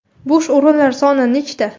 Bo‘sh o‘rinlar soni nechta ?